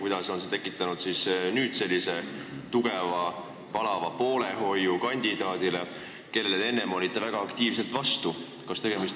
Kuidas on nüüd tekkinud selline tugev, palav poolehoid kandidaadile, kellele te enne väga aktiivselt vastu olite?